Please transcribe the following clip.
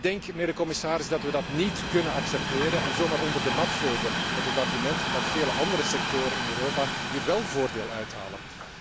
En ik denk, mijnheer de commissaris, dat wij dat niet kunnen accepteren en dat zo maar onder de mat kunnen vegen, met het argument dat veel andere sectoren in Europa hier wel voordeel uithalen.